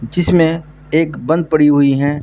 जिसमें एक बंद पड़ी हुई है।